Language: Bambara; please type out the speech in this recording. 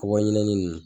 Ka bɔ ɲinɛnin